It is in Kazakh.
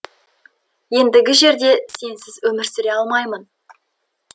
ендігі жерде сенсіз өмір сүре алмаймын